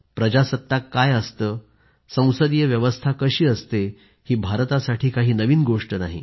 प्रजासत्ताक काय असते आणि संसदीय व्यवस्था कशी असते ही भारतासाठी काही नवीन गोष्ट नाही